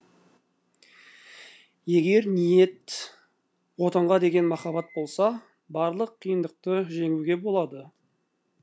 егер ниет отанға деген махаббат болса барлық қиындықты жеңуге болады